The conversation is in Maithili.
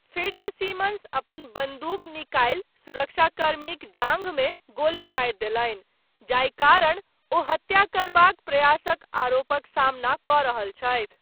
फिट्जसिमन्स अपन बंदूक निकालि सुरक्षाकर्मीक जांघमे गोली मारि देलनि, जाहि कारण ओ हत्या करबाक प्रयासक आरोपक सामना कऽ रहल छथि।